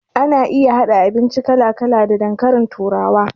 Ana iya haɗa abinci kala kala da dankalin turawa